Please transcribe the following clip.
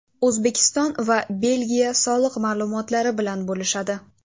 O‘zbekiston va Belgiya soliq ma’lumotlari bilan bo‘lishadi.